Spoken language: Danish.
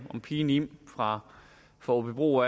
pigen im fra åbybro